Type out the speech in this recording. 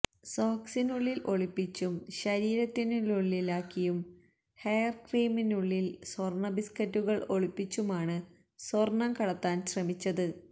സോക്സിനുള്ളില് ഒളിപ്പിച്ചും ശരീരത്തിനുള്ളിലാക്കിയും ഹെയര്ക്രീമിനുള്ളില് സ്വര്ണ ബിസ്ക്കറ്റുകള് ഒളിപ്പിച്ചുമാണ് സ്വര്ണം കടത്താന് ശ്രമിച്ചത്